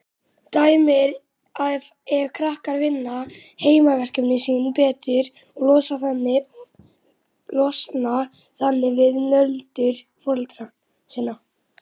Dæmi er ef krakkar vinna heimaverkefnin sín betur og losna þannig við nöldur foreldra sinna.